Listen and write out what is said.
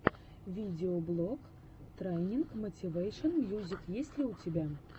видеоблог трайнинг мотивэйшен мьюзик есть ли у тебя